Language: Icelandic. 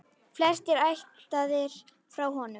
Flestir ættaðir frá honum.